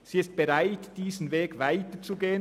Sie ist bereit, diesen Weg weiterzugehen.